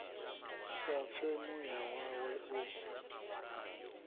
sa pfe muya wawe u